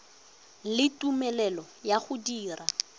le tumelelo ya go dira